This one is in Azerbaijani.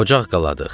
Ocaq qaladıq.